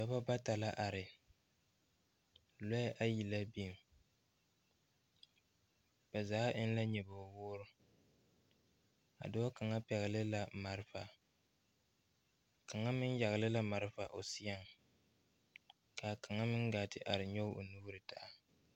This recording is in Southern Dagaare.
Dɔbɔ bata la are lɔɛ ayi la biŋ ba zaa eŋ la nyoboge woore a dɔɔ kaŋa pɛgle la malfa kaŋa meŋ yagle la malfa o seɛŋ kaa kaŋa meŋ gaa te are nyoge o nuure taa.